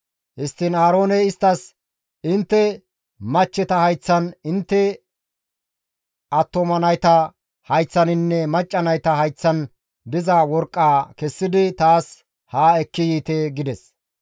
Histtiin Aarooney isttas, «Intte machcheta hayththan, intte attuma nayta hayththaninne macca nayta hayththan diza worqqaa kessidi taas ha ekki yiite» gides.